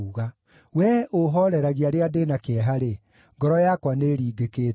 Wee ũũhooreragia rĩrĩa ndĩ na kĩeha-rĩ, ngoro yakwa nĩĩringĩkĩte.